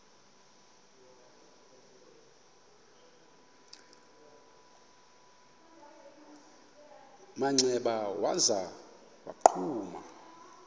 manxeba waza wagquma